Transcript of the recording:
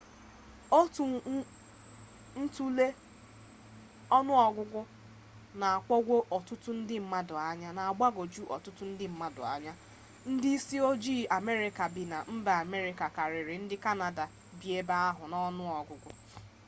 otu ntule ọnụ ọgụgụ na-agbagwoju ọtụtụ ndị mmadụ anya ndị isi ojii amerịka bi na mba amerịka karịrị ndị kanada bi ebe ahụ n'ọnụ ọgụgụ